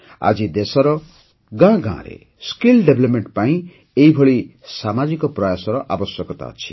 ଆଜି ଦେଶର ଗାଁ ଗାଁରେ ଦକ୍ଷତା ବିକାଶ ପାଇଁ ଏହିଭଳି ସାମାଜିକ ପ୍ରୟାସର ଆବଶ୍ୟକତା ଅଛି